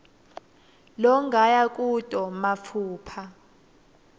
longaya kuto matfupha